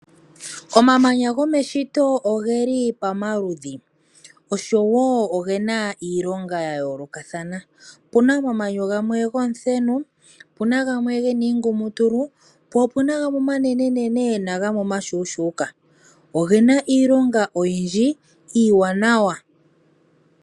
Omamanya gomeshito oge li pamaludhi, osho wo oge na iilonga ya yoolokathana. Opu na omamanya gamwe gomuthenu, opu na omamanya ge na iingumutulu, po opu na omeya omanene momatale, nagamwe omashuushuuka. Oge na iilonga oyindji iiwanawa.